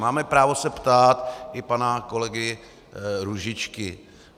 Máme právo se ptát i pana kolegy Růžičky.